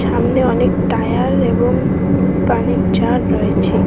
সামনে অনেক টায়ার এবং পানির জার রয়েছে।